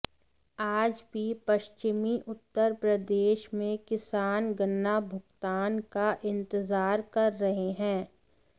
आज भी पश्चिमी उत्तर प्रदेश में किसान गन्ना भुगतान का इंतजार कर रहे हैं